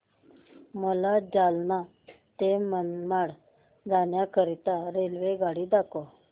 मला जालना ते मनमाड जाण्याकरीता रेल्वेगाडी दाखवा